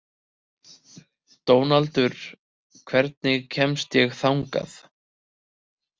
Dónaldur, hvernig kemst ég þangað?